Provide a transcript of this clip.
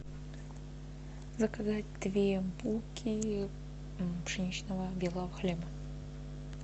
заказать две булки пшеничного белого хлеба